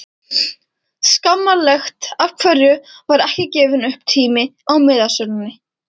Skammarlegt Af hverju var ekki gefinn upp tími á miðasölunni?